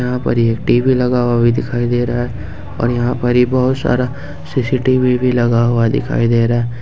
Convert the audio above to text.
यहां पर एक टी_वी लगा हुआ भी दिखाई दे रहा है और यहां पर ही बहुत सारा सी_सी_टी_वी भी लगा हुआ दिखाई दे रहा है।